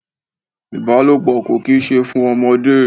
Ìbálòpọ̀ kò kì í ṣe fún ọmọdé.